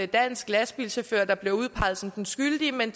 dansk lastbilchauffør der blev udpeget som den skyldige men